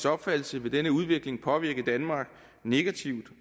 opfattelse vil denne udvikling påvirke danmark negativt